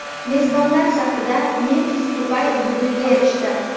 Mezbonlar safida Memfis Depay dublga erishdi.